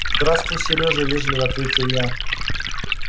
здравствуй сережа вежливо ответил я